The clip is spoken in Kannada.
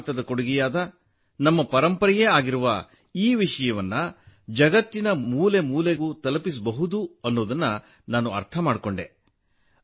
ಭಾರತದ ಕೊಡುಗೆಯಾದ ನಮ್ಮ ಪರಂಪರೆಯಾಗಿರುವ ಈ ವಿಷಯವನ್ನು ಜಗತ್ತಿನ ಮೂಲೆ ಮೂಲೆಗೂ ತಲುಪಿಸಬಹುದು ಎಂಬುದನ್ನು ನಾನು ಅರ್ಥಮಾಡಿಕೊಂಡೆ